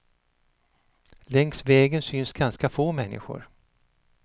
Längs vägen syns ganska få människor.